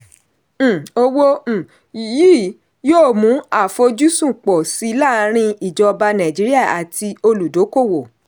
um owó um yìí yóò mú àfojúsùn pọ̀ sí laarin ìjọba nàìjíríà àti olùdókòwò.